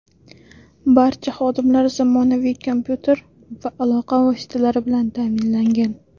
Barcha xodimlar zamonaviy kompyuter va aloqa vositalari bilan ta’minlangan.